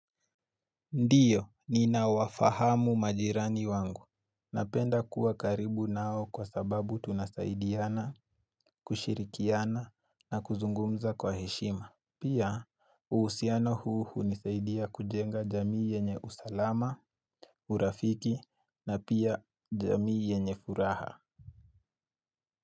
Ndiyo, ninawafahamu majirani wangu. Napenda kuwa karibu nao kwa sababu tunasaidiana, kushirikiana na kuzungumza kwa heshima. Pia, uhusiano huu hunisaidia kujenga jamii yenye usalama, urafiki na pia jamii yenye furaha.